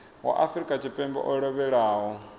wa afrika tshipembe o lovhelaho